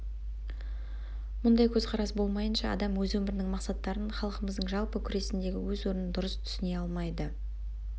мұндай көзқарас болмайынша адам өз өмірінің мақсаттарын халқымыздың жалпы күресіндегі өз орнын дұрыс түсіне алмайды